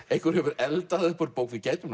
einhver hefur eldað upp úr bók við gætum